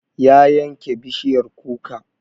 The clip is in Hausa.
Ya yanke bishiyar kuka